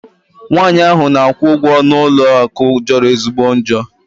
Nwaanyị ahụ na-akwụ ụgwọ n'ụlọ akụ jọrọ ezigbo njọ.